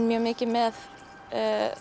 mikið með